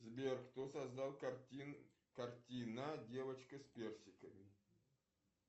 сбер кто создал картина девочка с персиками